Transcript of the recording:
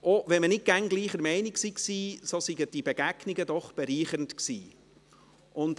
Auch wenn man nicht immer gleicher Meinung war, seien die Begegnungen doch bereichernd gewesen.